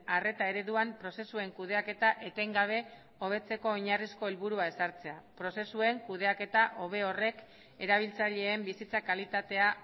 arreta ereduan prozesuen kudeaketa etengabe hobetzeko oinarrizko helburua ezartzea prozesuen kudeaketa hobe horrek erabiltzaileen bizitza kalitatea